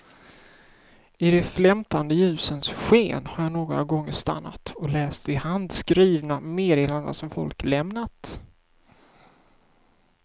I de flämtande ljusens sken har jag några gånger stannat och läst de handskrivna meddelandena som folk lämnat.